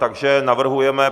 Takže navrhujeme...